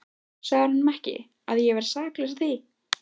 Sagðirðu honum ekki, að ég væri saklaus að því?